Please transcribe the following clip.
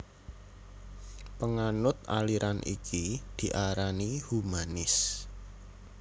Panganut aliran iki diarani humanis